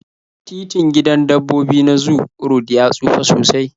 Titin gidan dabbobi na zoo road ya tsufa sosai